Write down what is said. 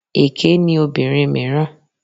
Èké ni obìnrin mìíràn.